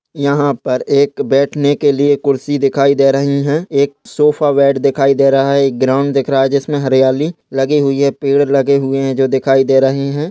यहाँ पर एक बैठने के लिए कुर्सी दिखाई दे रही हैं एक सोफा बेड दिखाई दे रहा है एक ग्राउंड दिख रहा है जिसमे हरियाली लगी हुई हैं पेड़ लगे हुए हैं जो दिखाई दे रही हैं।